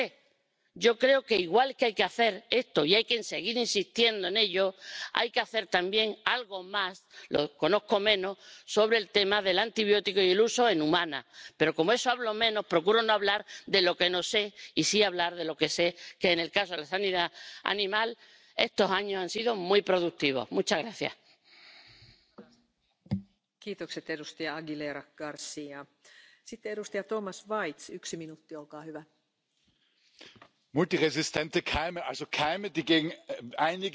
Wir sollten nicht beginnen ausgerechnet mit Kennzeichnungspflichten, mit Produktionskontrollen und einem generellen Angriff auf konventionelle Landwirtschaft und das schimmert hier doch in einigen Redebeiträgen auch sehr deutlich hervor, dass es eben um den generellen Angriff auf die konventionelle Landwirtschaft geht wir sollten hier das Kind nicht mit dem Bade ausschütten und die richtige Schlagrichtung nicht übertreiben. Auch Milliarden Forderungen werden eine reine Biolandwirtschaft in Europa nicht zum Erfolg führen. Was wir brauchen,